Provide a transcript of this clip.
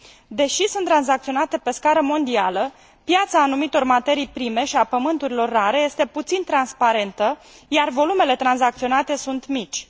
Deși sunt tranzacționate pe scară mondială, piața anumitor materii prime și a elementelor terestre rare este puțin transparentă, iar volumele tranzacționate sunt mici.